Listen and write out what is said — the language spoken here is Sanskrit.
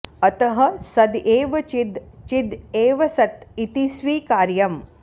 अतः सद् एव चिद् चिद् एव सत् इति स्वीकार्यम्